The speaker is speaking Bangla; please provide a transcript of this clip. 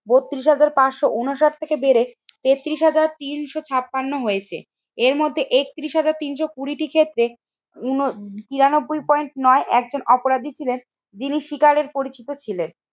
বত্রিশ হাজার পাঁচশো ঊনষাট থেকে বেড়ে তেত্রিশ হাজার তিনশো ছাপান্ন হয়েছে। এর মধ্যে একত্রিশ হাজার তিনশো কুড়ি টি ক্ষেত্রে উন তিরানব্বই পয়েন্ট নয় একজন অপরাধী ছিলেন, যিনি শিকারের পরিচিত ছিলেন।